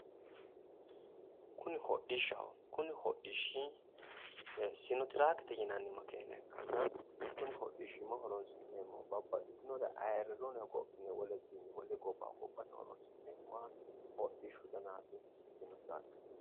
kuni hodhishshaho. Kuni hodhishshi sinotraakete yinanni makeena ikkanna kuni hodhishshimma horoonsi'neemmohu babbaxxitinore ayiirrannore hogophine wolewiinni wolewa gobba hogophate horoonsi'neemmoha hodhishshu danaati sinotraake.